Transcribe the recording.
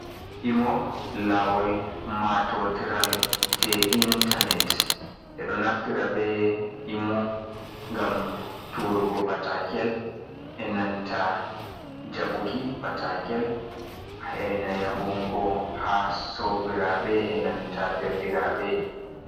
Imo lawol matotiral jei intanet. Ɓe ɗo naftira be imo gam turugo patakel, e nanta jaɓuki patakel heina yahungo ha sobiraɓe e nanta derɗiraɓe.